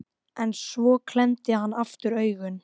En svo klemmdi hann aftur augun.